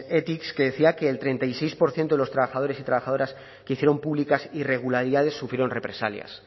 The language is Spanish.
ethics que decía que el treinta y seis por ciento de los trabajadores y trabajadoras que hicieron públicas irregularidades sufrieron represalias